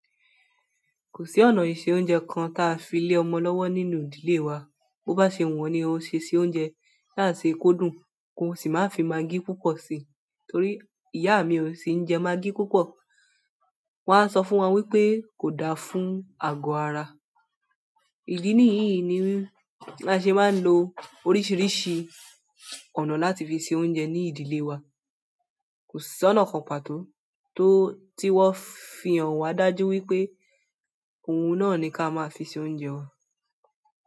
Kò sí ọ̀nà ìse oúnjẹ kan ta filé ọmọ lọ́wọ́ nínú ìdílé wa. Bo bá ṣe wu ọ́ ni a o ṣe se oúnjẹ, sáti se kódùn kò sì máa fi magí púpọ̀ si, torí ìyá mi ò sì ń jẹ magí púpọ̀. Won a sọ fún wa wípé kò da fún àgọ ara. Ìdí nìyì ni a ṣe máa ń lo oríṣiríṣi ọ̀nà láti fi ṣe oúnjẹ ní ìdílé wa. Kò sí ọ̀nà kan pàtó tí wón fi hàn wa dájú wípé oun náà ni ka máa fi se oúnjẹ wa.